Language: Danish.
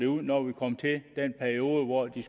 ud når vi kom til den periode hvor de